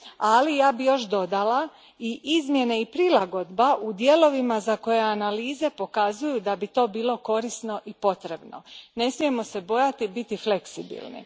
Ali, ja bih još dodala i izmjene i prilagodba u dijelovima za koje analize pokazuju da bi to bilo korisno i potrebno ne smijemo se bojati biti fleksibilni.